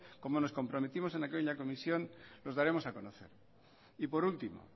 como nos comprometimos en aquella comisión nos daremos a conocer y por último